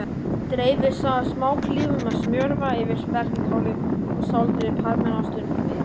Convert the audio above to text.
Dreifið smáklípum af smjörva yfir spergilkálið og sáldrið parmesanostinum yfir.